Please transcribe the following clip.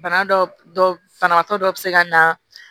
Bana dɔ banabaatɔ dɔ bɛ se ka na